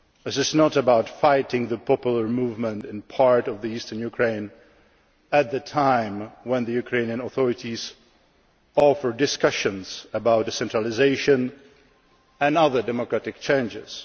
This is not about fighting the popular movement in part of eastern Ukraine at a time when the Ukrainian authorities offer discussions about decentralisation and other democratic changes.